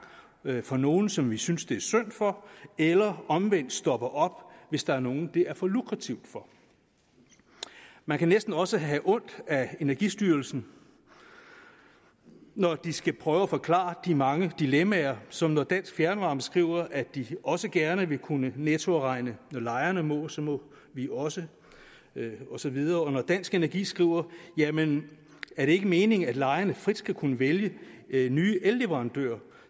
for nogle som vi synes det er synd for eller omvendt stopper op hvis der er nogen det er for lukrativt for man kan næsten også have ondt af energistyrelsen når de skal prøve at forklare de mange dilemmaer som når dansk fjernvarme skriver at de også gerne vil kunne nettoafregne når lejerne må så må vi også og så videre eller når dansk energi skriver jamen er det ikke meningen at lejerne frit skal kunne vælge nye elleverandører